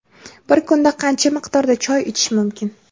Bir kunda qancha miqdorda choy ichish mumkin?.